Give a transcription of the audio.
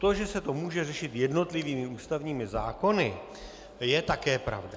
To, že se to může řešit jednotlivými ústavními zákony, je také pravda.